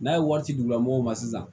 N'a ye wari di u ma mɔgɔw ma sisan